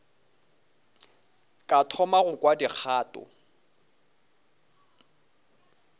ka thoma go kwa dikgato